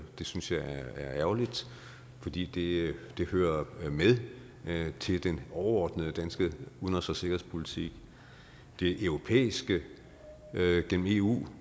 det synes jeg er ærgerligt fordi det hører med til den overordnede danske udenrigs og sikkerhedspolitik det er det europæiske gennem eu